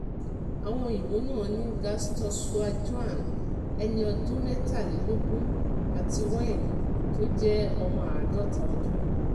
àwọn òyìnbó náà ni gustas zhou jíán ẹni ọdún mẹ́tàlélógún àti wen tó jẹ́ ọmọ àádọ́ta ọdún